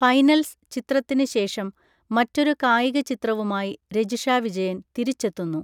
Finals' ചിത്രത്തിന് ശേഷം മറ്റൊരു കായിക ചിത്രവുമായി രജിഷ വിജയൻ തിരിച്ചെത്തുന്നു.